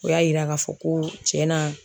O y'a yira k'a fɔ ko cɛn na.